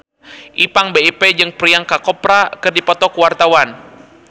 Ipank BIP jeung Priyanka Chopra keur dipoto ku wartawan